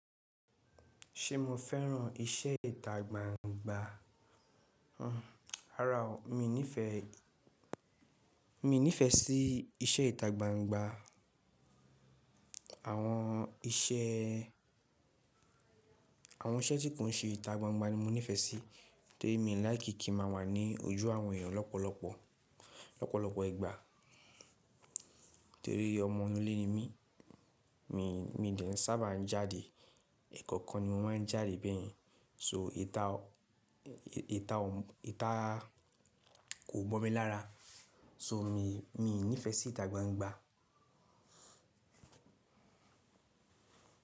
Ṣé mo fẹ́ràn iṣẹ́ ìta gbangba? Hmm, àrá o, mi ò nífẹ̀ẹ́, mi ò nífẹ̀ẹ́ sí iṣẹ́ ìta gbangba. Àwọn iṣẹ́, àwọn iṣẹ́ tí kò ń ṣe ìta gbangba ni mo nífẹ̀ẹ́ sí torí mi ò láìkí kí ma wà ní ojú àwọn èèyàn lọ́pọ̀lọpọ̀, lọ́pọ̀lọpọ̀ ìgbà torí ọmọ inú ilé ni mí. Mi, mi dẹ̀ ń sábà ń jáde, ẹ̀ẹ̀kọ̀kan ni mo máa ń jáde bẹ́ẹ̀yẹn. So ìta, ìta ọ̀, ìta kò bọ̀ mí lára. So mi, mi ò nífẹ̀ẹ́ sí ìta gbangba.